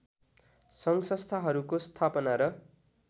सङ्घसंस्थाहरूको स्थापना र